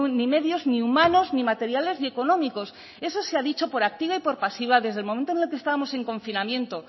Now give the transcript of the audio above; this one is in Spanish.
ni medios ni humanos ni materiales y económicos eso se ha dicho por activa y por pasiva desde el momento en que estábamos en confinamiento